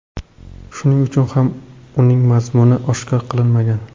Shuning uchun ham uning mazmuni oshkor qilinmagan.